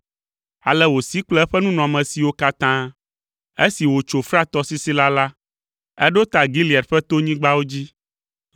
Ale wòsi kple eƒe nunɔamesiwo katã. Esi wòtso Frat tɔsisi la, eɖo ta Gilead ƒe tonyigbawo dzi.